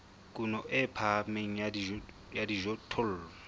kuno e phahameng ya dijothollo